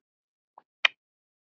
Af hverju fór hann til